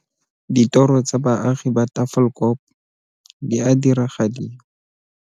Ditoro tsa baagi ba Tafelkop di a diragadiwa.